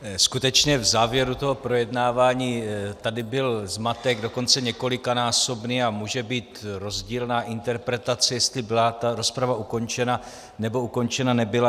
Skutečně, v závěru toho projednávání tady byl zmatek, dokonce několikanásobný, a může být rozdílná interpretace, jestli byla ta rozprava ukončena, nebo ukončena nebyla.